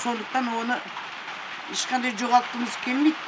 сондықтан оны ешқандай жоғалтқымыз келмейді